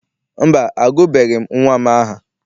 Mba, agụbeghị m nnwa m aha.